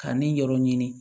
Ka ne yɔrɔ ɲini